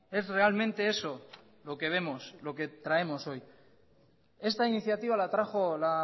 es realmente eso lo que vemos lo que traemos hoy esta iniciativa la trajo la